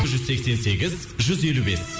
жүз сексен сегіз жүз елу бес